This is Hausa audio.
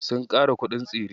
Sun ƙara kuɗin tsire.